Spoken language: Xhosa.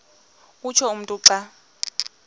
utsho umntu xa